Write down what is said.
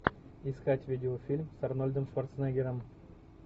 искать видеофильм с арнольдом шварценеггером